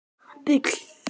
Þín dóttir, Sigrún Harpa.